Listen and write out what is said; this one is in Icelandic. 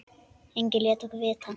Enginn lét okkur vita.